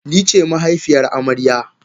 Nice mahaifiyar amarya.